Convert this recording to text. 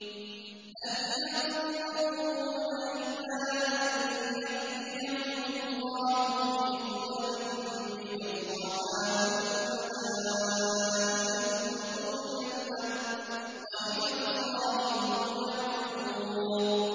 هَلْ يَنظُرُونَ إِلَّا أَن يَأْتِيَهُمُ اللَّهُ فِي ظُلَلٍ مِّنَ الْغَمَامِ وَالْمَلَائِكَةُ وَقُضِيَ الْأَمْرُ ۚ وَإِلَى اللَّهِ تُرْجَعُ الْأُمُورُ